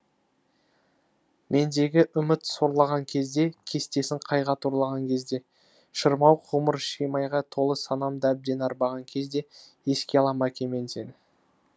мендегі үміт сорлаған кезде кестесін қайғы торлаған кезде шырмауық ғұмыр шимайға толы санамды әбден арбаған кезде еске алам әке мен сені